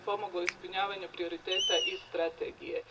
Time bi pomogla ispunjavanju prioriteta i strategije.